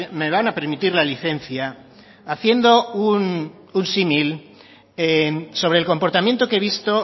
me van a permitir la licencia haciendo un símil sobre el comportamiento que he visto